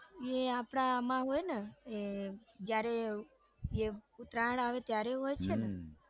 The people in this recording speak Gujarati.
એ આપડા આમ હોય ને એ જયારે જે ઉત્તરાયણ આવે ત્યારે હોય છે ને હમ